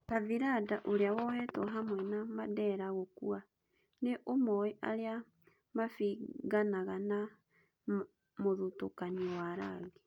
Kathiranda, ũrĩa wohetwo hamwe na Mandera gũkua. Nĩ ũmoĩ arĩa mabinganaga na mũthitũkanio wa rangi.